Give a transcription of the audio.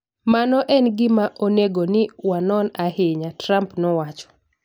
" Mano en gima onego ni wanon ahinya, " Trump nowacho